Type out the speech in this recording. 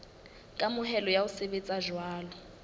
kamohelo ya ho sebetsa jwalo